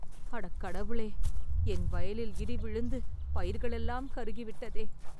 அடக்கடவுளே.. என் வயலில் இடி விழுந்து பயிர்களெல்லாம் கருகிவிட்டதே